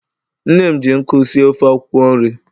Nne m ji nkụ sie ofe akwukwo nri